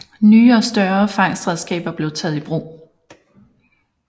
Nye og større fangstredskaber blev taget i brug